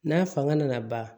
N'a fanga nana ban